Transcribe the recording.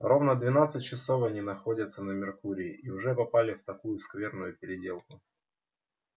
ровно двенадцать часов они находятся на меркурии и уже попали в такую скверную переделку